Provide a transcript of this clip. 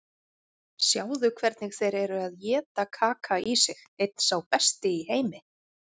Sjáðu hvernig þeir eru að éta Kaka í sig, einn sá besti í heimi.